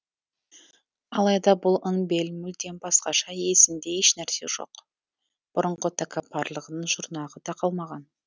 алайда бұл ын бель мүлдем басқаша есінде ешнәрсе жоқ бұрынғы тәкаппарлығының жұрнағы да қалмаған